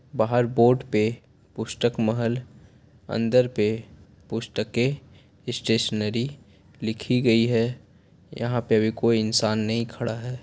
बाहर बोर्ड पे पुस्तक महल अंदर पे पुस्तेक स्टेशनरी लिखी गई है यहाँ पे अभी कोई इंसान नहीं खड़ा है।